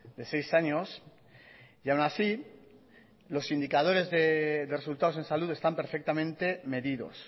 de seis años y aun así los indicadores de resultados en salud están perfectamente medidos